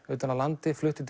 utan af landi flutti